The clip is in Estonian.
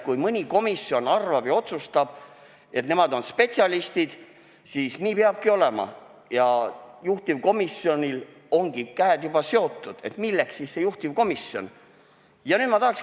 Kui mõni komisjon arvab, et nemad on spetsialistid, ja otsustab, et nii peabki olema, ning juhtivkomisjonil on käed juba seotud, siis milleks üldse juhtivkomisjoni vaja?